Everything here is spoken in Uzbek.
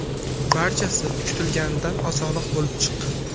Barchasi kutilganidan osonroq bo‘lib chiqqan.